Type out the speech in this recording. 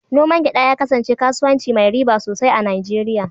Noman gyada ya kasance kasuwanci mai riba sosai a Nijeriya.